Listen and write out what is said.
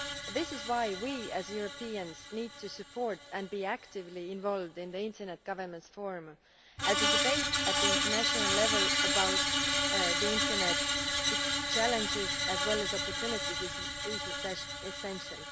This is why we, as Europeans, need to support and be actively involved in the Internet Governance Forum, as a debate at international level about the internet its challenges as well as its opportunities is essential.